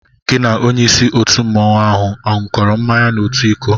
Gị na onyé ísí òtù mmanwu áhù aṅukoro mmanya n'otu ịkó?